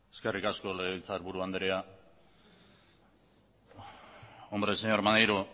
eskerrik asko legebiltzakiburu anderea hombre señor maneiro